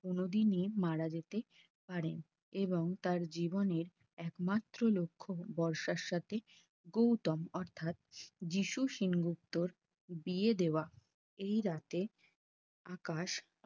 কোনদিনই মারা যেতে পারে এবং তার জীবনের একমাত্র লক্ষ্য বর্ষার সাথে গৌতম অর্থাৎ যিশু সেনগুপ্তের বিয়ে দেওয়া এই রাতে আকাশ